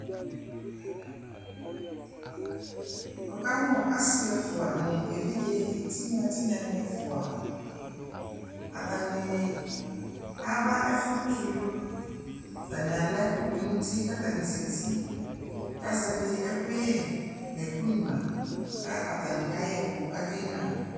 wʋkamʋ asii ɛƒʋa nʋ ɛvidzɛ tinya tinya ni ɛƒʋa, atani aba ɛƒʋ tʋlʋ, atani alɛ ɛkʋ tʋnʋti kʋ atani zati kʋ azɛvi ɛkʋyɛ nʋ ɛkʋ nyʋa kʋ atani kayɛ ɛkʋ kʋ akɛ nyʋa